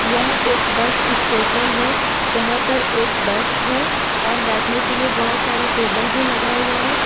यह एक bus station है जहां पर एक बस हैं और बैठने के लिए बहुत सारा टेबल भी लगा हुआ हैं।